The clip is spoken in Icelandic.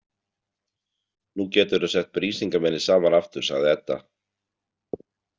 Nú geturðu sett Brísingamenið saman aftur, sagði Edda.